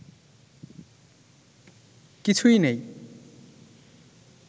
কিছুই নেই